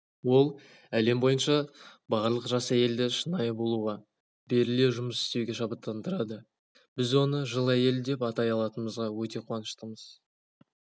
ол әлем бойынша барлық жас әйелді шынайы болуға беріле жұмыс істеуге шабыттандырады біз оны жыл әйелі деп атай алатынымызға өте қуаныштымыз